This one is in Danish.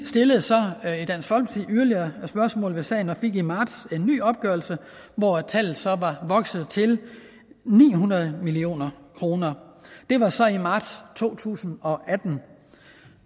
stillede så yderligere spørgsmål om sagen og fik i marts en ny opgørelse hvor tallet så var vokset til ni hundrede million kroner det var så i marts to tusind og atten